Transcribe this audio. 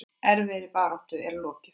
Erfiðri baráttu er lokið.